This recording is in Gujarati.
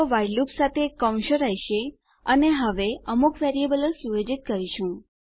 તો વ્હાઇલ લૂપ સાથે આપણી પાસે બ્રેકેટો કૌંસો રહેશે અને હવે અમુક વેરીએબલો સુયોજિત કરીશું